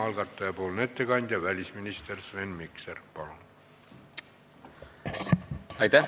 Algataja ettekandja välisminister Sven Mikser, palun!